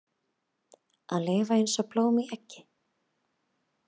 Að lifa eins og blóm í eggi